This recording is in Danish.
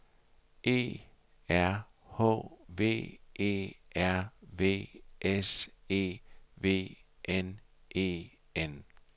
E R H V E R V S E V N E N